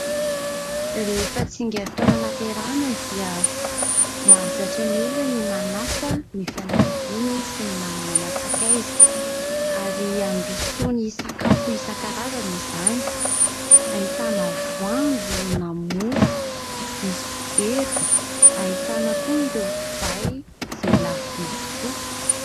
Rehefa tsingeritaona hahaterahana dia, mahazatra ny olona ny manasa ny fianakaviany sy ny namana aman-tsakaiza, ary androsoany sakafo isan-karazana izany. Hahitana : voanjo, na mofo misy dobera. Hahitana koa ireo divay izay lafovidy tokoa.